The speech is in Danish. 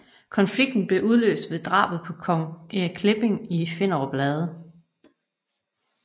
Konflikten blev udløst ved drabet på kong Erik Klipping i Finderup Lade